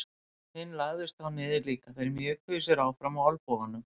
Hinn lagðist þá niður líka og þeir mjökuðu sér áfram á olnbogunum.